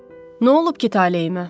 Nə olub ki taleyimə?